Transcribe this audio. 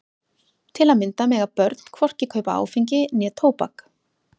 Til að mynda mega börn hvorki kaupa áfengi né tóbak.